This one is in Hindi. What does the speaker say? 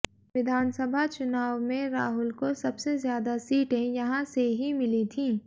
विधानसभा चुनाव मे राहुल को सबसे ज्यादा सीटें यहां से ही मिली थी